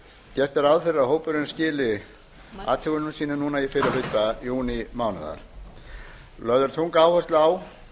gert er ráð fyrir að hópurinn skili athugunum sínum í fyrri hluta júnímánaðar lögð er þung áhersla á